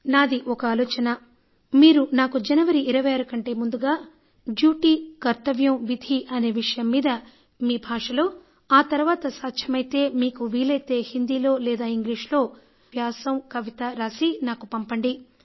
నాది ఒక ఆలోచన మీరు నాకు జనవరి 26 కంటే ముందుగా డ్యూటీ కర్తవ్యం విధి అనే విషయం మీద మీ భాషలో ఆ తర్వాత సాధ్యమైతే మీకు వీలైతే హిందీలో లేదా ఇంగ్లీష్లో కర్తవ్యంపై వ్యాసం కవిత రాసి నాకు పంపండి